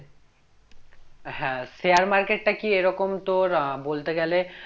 হ্যাঁ share market টা কি এরকম তোর আহ বলতে গেলে